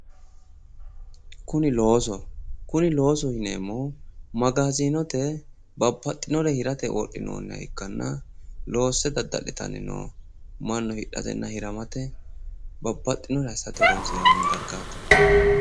Kuni loosoho. Kuni loosoho yineemmohu magaazinote babbaxxinore hirate wodhinoonniha ikkanna loosse dadda'litanni no mannu hidhatenna hiramate babbaxxinore assate horonssiranno dargaati.